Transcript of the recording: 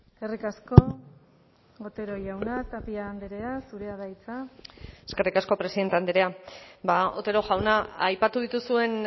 eskerrik asko otero jauna tapia andrea zurea da hitza eskerrik asko presidente andrea otero jauna aipatu dituzuen